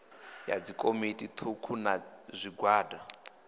ya dzikomiti thukhu na zwigwada